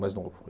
Mais novo.